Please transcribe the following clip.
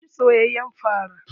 Na ci soyayen fara.